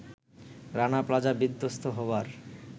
Rana Plaza বিধ্বস্ত হবার